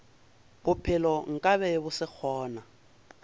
bophelo nkabe bo se gona